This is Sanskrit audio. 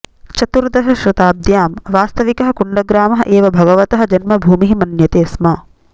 चतुर्दशशताब्द्यां वास्तविकः कुण्डग्रामः एव भगवतः जन्मभूमिः मन्यते स्म